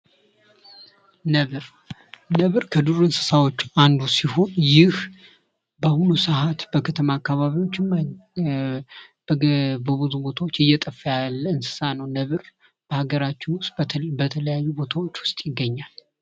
ነብር ነብር ከዱር እንስሳዎች አንዱ ሲሆን ይህ በአሁኑ ሰዓት በከተማ አካባቢዎች በብዙ ቦታዎች እየጠፋ ያለ እንስሳ ነው። ነብር በሀገራችን ውስጥ በተለያዩ ቦታዎች ውስጥ ይገኛል።